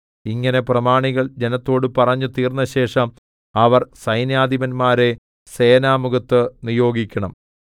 ഇങ്ങനെ പ്രമാണികൾ ജനത്തോട് പറഞ്ഞു തീർന്നശേഷം അവർ സൈന്യാധിപന്മാരെ സേനാമുഖത്ത് നിയോഗിക്കണം